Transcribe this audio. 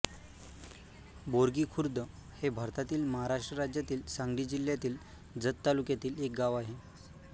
बोरगी खुर्द हे भारतातील महाराष्ट्र राज्यातील सांगली जिल्ह्यातील जत तालुक्यातील एक गाव आहे